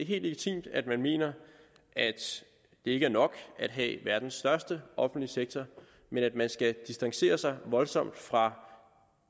legitimt at man mener at det ikke er nok at have verdens største offentlige sektor men at man skal distancere sig voldsomt fra